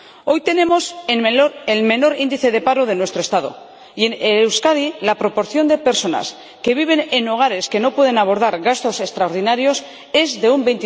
Hoy tenemos el menor índice de paro de nuestro Estado y, en Euskadi, la proporción de personas que viven en hogares que no pueden abordar gastos extraordinarios es de un